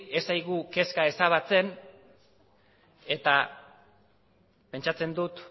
ez zaigu kezka ezabatzen eta pentsatzen dut